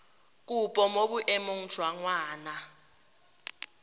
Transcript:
kopo mo boemong jwa ngwana